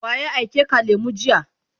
waye aike ka lemu jiya?